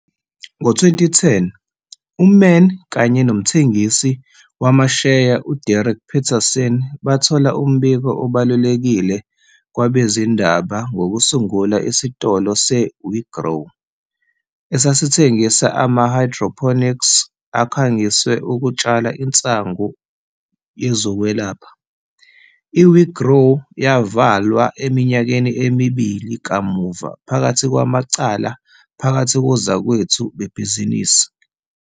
Ngo-2010, uMann kanye nomthengisi wamasheya uDerek Peterson bathola umbiko obalulekile kwabezindaba ngokusungula isitolo se-weGrow, esasithengisa ama- hydroponics akhangiswe ukutshala insangu yezokwelapha. I-weGrow yavalwa eminyakeni emibili kamuva phakathi kwamacala phakathi kozakwethu bebhizinisi.